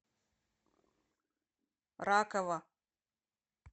ракова